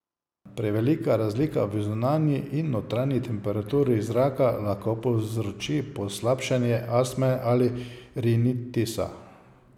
Prevelika razlika v zunanji in notranji temperaturi zraka lahko povzroči poslabšanje astme ali rinitisa.